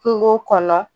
Kungo kɔnɔ